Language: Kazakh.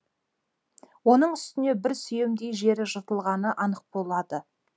оның үстіне бір сүйемдей жері жыртылғаны анық болады